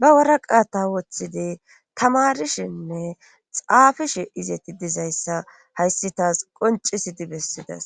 ba waraqaata woththidi tamarishinne xaafishe izeti dizayssa hayssi taas qoncisidi bessidas